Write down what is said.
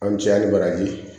An bi caya hali baraji